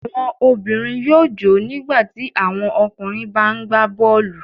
Àwọn obìnrin yóò jò ó nígbà tí àwọn ọkùnrin bá ń gbá bọ́ọ́lù.